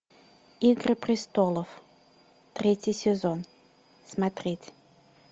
игры престолов третий сезон смотреть